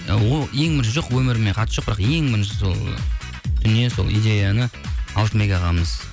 ол ең бірінші жоқ өміріме қатысы жоқ бірақ ең бірінші сол дүние сол идеяны алтынбек ағамыз